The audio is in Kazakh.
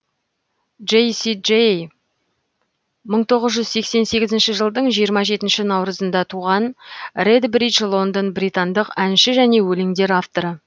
джейси джей мың тоғыз жүз сексен сегізінші жылдың жиырма жетінші наурызында туған редбридж лондон британдық әнші және өлеңдер авторы